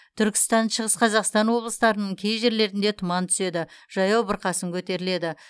түркістан шығыс қазақстан облыстарының кей жерлерінде тұман түседі жаяу бұрқасын көтеріледі